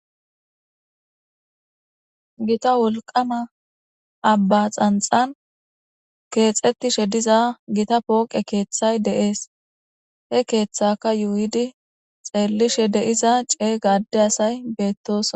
Giita wolqqama abba xanxxan kexxetishshe diiza giita pooqqe keththay de'es he keththaka yuyidi xellishe diiza ceega adde asay bettosona